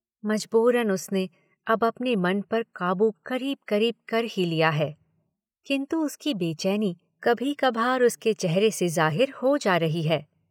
मजबूरन उसने अब अपने मन पर काबू करीब करीब कर ही लिया है, किन्तु उसकी बेचैनी कभी कभार उसके चेहरे से जाहिर हो जा रही है।